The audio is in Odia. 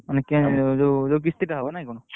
ମାନେ ଜଉ କିସ୍ତି ଟା ହବ ନାଇ କଣ?